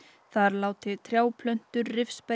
þar láti trjáplöntur